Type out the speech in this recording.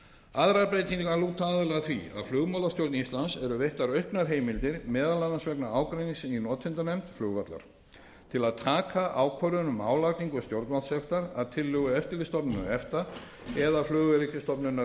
aðrar breytingar lúta aðallega að því að flugmálastjórn íslands eru veittar auknar heimildir meðal annars vegna ágreinings í notendanefnd flugvallar til að taka ákvörðun um álagningu stjórnvaldssektar að tillögu eftirlitsstofnunar efta eða flugöryggisstofnunar